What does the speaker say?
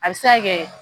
A bɛ se ka kɛ